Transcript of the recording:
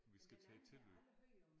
Vi skal tage tilløb